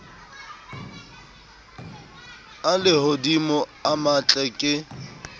a lehodimo a matle ke